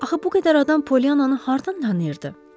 Axı bu qədər adam Polyananı hardan tanıyırdı?